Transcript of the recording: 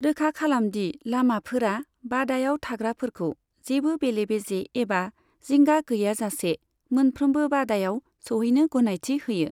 रोखा खालामदि लामाफोरा बादायाव थाग्राफोरखौ जेबो बेले बेजे एबा जिंगा गैयाजासे मोनफ्रोमबो बादायाव सौहैनो गनायथि होयो।